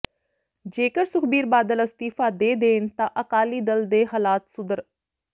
ਜੇਕਰ ਸੁਖਬੀਰ ਬਾਦਲ ਅਸਤੀਫਾ ਦੇ ਦੇਣ ਤਾਂ ਅਕਾਲੀ ਦਲ ਦੇ ਹਲਾਤ ਸੁਧਰ